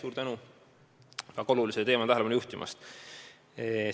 Suur tänu väga olulisele teemale tähelepanu juhtimast!